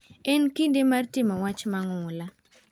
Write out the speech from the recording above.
En kinde mar timo wach mang'ula.